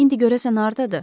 İndi görəsən hardadır?